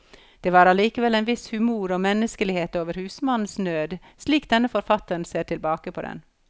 Det var allikevel en viss humor og menneskelighet over husmannens nød, slik denne forfatteren ser tilbake på den.